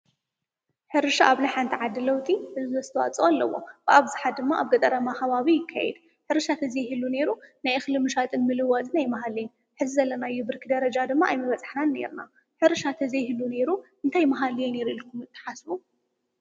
ሕርሻ ኣብ ናሕ እንተ ዓዲ ለውጢ ዕዙዝ ኣስተዋፅኦ ኣለዎ፡፡ ብኣብዝሓ ድማ ኣብ ገጠረማ ከባቢ ይከይድ፡፡ ሕርሻ ተዘይህሉ ነይሩ ናይ እኽሊ ምሻጥን ምልዋጥን ኣይመሃለየን፡፡ ሕዚ ዘለናዮ ብርኪ ደረጃ ድማ ኣይመበፃሕናን ነይርና፡፡ ሕርሻ ተዘይህሉ ነይሩ እንታይ መሃለየ ነይሩ ኢልኩም ትሓስቡ?